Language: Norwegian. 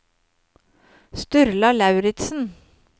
Sturla Lauritsen